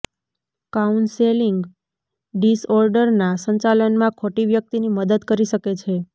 counselling ડિસઓર્ડરના સંચાલનમાં ખોટી વ્યક્તિની મદદ કરી શકે છે